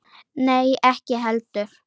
Nei, ekki heldur.